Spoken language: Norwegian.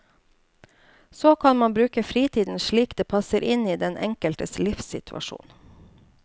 Så kan man bruke fritiden slik det passer inn i den enkeltes livssituasjon.